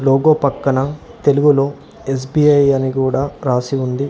Logo పక్కన తెలుగులో S B I అని కూడా రాసి ఉంది.